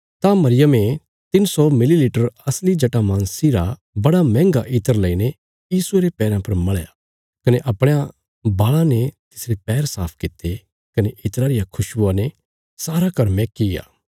तां मरियमे तिन्न सौ मिली लीटर असली जटामांसी रा बड़ा मैंहगा इत्र लेईने यीशुये रे पैरा पर मल़या कने अपणयां बाल़ां ने तिसरे पैर साफ कित्ते कने इत्रा रिया खुशवुआ ते सारा घर मैहकीग्या